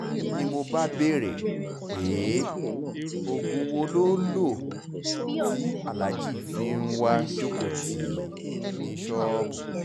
ni mo bá béèrè pé oògùn wo lo lò tí aláàjì fi ń wáá jókòó tì í ní ṣọ́ọ̀bù